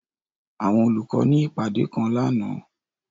Àwọn olukọ ni ipade kan làná.